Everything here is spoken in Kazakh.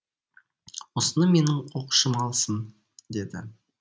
осыны менің оқушым алсын деді